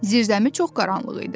Zirzəmi çox qaranlıq idi.